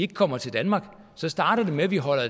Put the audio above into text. kommer til danmark så starter det med at vi holder